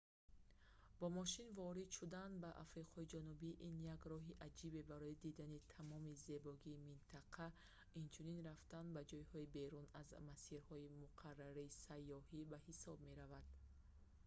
бо мошин ворид шудан ба африқои ҷанубӣ ин як роҳи аҷибе барои дидани тамоми зебогии минтақа инчунин рафтан ба ҷойҳои берун аз масирҳои муқаррарии сайёҳӣ ба ҳисоб меравад